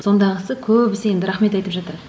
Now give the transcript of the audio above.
сондағысы көбісі енді рахмет айтып жатады